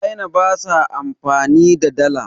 china ba sa amfani da Dala